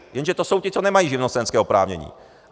Jenže to jsou ti, co nemají živnostenské oprávnění.